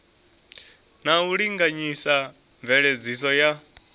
na u linganyisa mveledziso ya